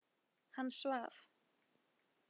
Hann svaf.